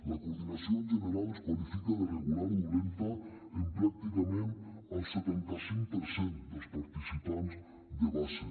la coordinació en general es qualifica de regular o dolenta en pràcticament el setanta cinc per cent dels participants de base